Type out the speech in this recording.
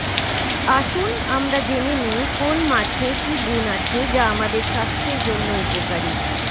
আসুন আমরা জেনে নেই কোন মাছে কী গুণ আছে যা আমাদের স্বাস্থ্যের জন্য উপকারী